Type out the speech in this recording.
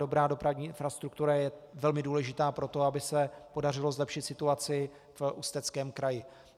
Dobrá dopravní infrastruktura je velmi důležitá pro to, aby se podařilo zlepšit situaci v Ústeckém kraji.